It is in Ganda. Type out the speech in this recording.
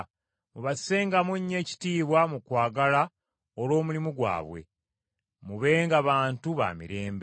mubassengamu nnyo ekitiibwa mu kwagala olw’omulimu gwabwe. Mubenga bantu ba mirembe.